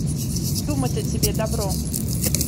думать о тебе дабро